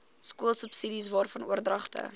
skoolsubsidies waarvan oordragte